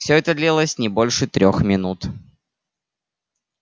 всё это длилось не больше трёх минут